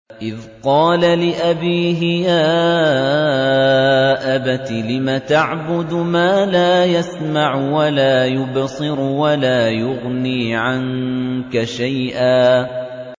إِذْ قَالَ لِأَبِيهِ يَا أَبَتِ لِمَ تَعْبُدُ مَا لَا يَسْمَعُ وَلَا يُبْصِرُ وَلَا يُغْنِي عَنكَ شَيْئًا